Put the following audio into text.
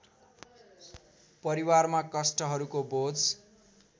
परिवारमा कष्टहरूको बोझ